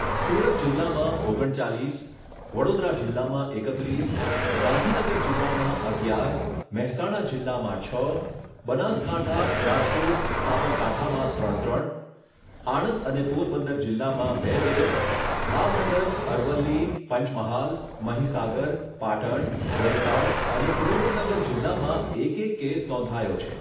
સુરત જિલ્લામાં ઓગણ ચાલીસ, વડોદરા જિલ્લામાં એકત્રીસ, ગાંધીનગર જિલ્લામાં અગિયાર, મહેસાણા જિલ્લામાં છ, બનાસકાંઠા રાજકોટ સાબરકાંઠામાં ત્રણ ત્રણ, આણંદ અને પોરબંદર જિલ્લામાં બે બે, ભાવનગર, અરવલ્લી, પંચમહાલ, મહીસાગર, પાટણ, વલસાડ, અને સુરેન્દ્રનગર જિલ્લામાં એક એક કેસ નોંધાયો છે.